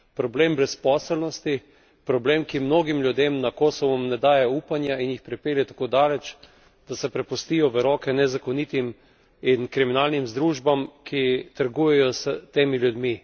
Problem brezposelnosti, problem, ki mnogim ljudem na Kosovem ne daje upanja in jih pripelje tako daleč, da se prepustijo v roke nezakonitim in kriminalnim združbam, ki trgujejo s temi ljudmi.